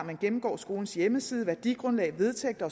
man gennemgår skolens hjemmeside værdigrundlag vedtægter